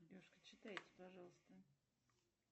девушка читайте пожалуйста